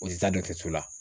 O te taa so la.